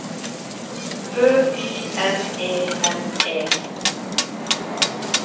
Ø Y N E N E